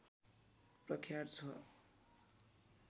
प्रख्यात छ